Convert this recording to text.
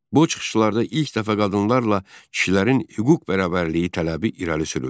Bu çıxışlarda ilk dəfə qadınlarla kişilərin hüquq bərabərliyi tələbi irəli sürüldü.